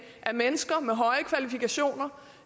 at mennesker med høje kvalifikationer